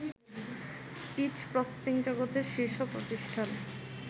speech প্রসেসিংজগতের শীর্ষ প্রতিষ্ঠান